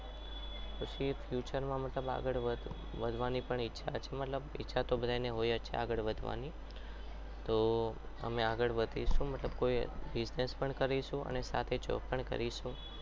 પછી future માં મતલબ આગળ વધવાની પણ ઈચ્છા છે પણ ઇચ્છા તો બધાને હોય જ આગળ વધવાની તો અમે આગળ વધીશું મતલબ કોઈ business પણ કરીશું અને સાથે job પણ કરીશું.